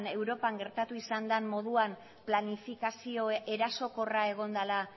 europan gertatu izan den moduan planifikazio erasokorra egon dela